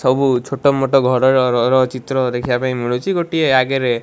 ସବୁ ଛୋଟ ମୋଟ ଘରରର ଚିତ୍ର ଦେଖିବା ପାଇଁ ମିଳୁଛି ଗୋଟିଏ ଆଗରେ --